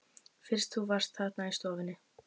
Fyrst þú varst þarna í stofunni.